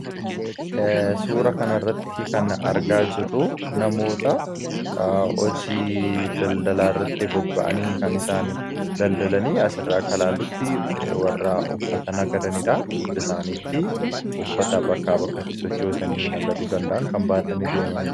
suura kana irratti kan argaa jirru namoota hojii daldalaa irratti bobba'anii kan isaan daldalanii asirraa akkailaallutti warra uffatana gadaniidha dugda isaaniitti uffata bakka bakkatti sochoosanii nagaduu danda'an kan baatani deemaniira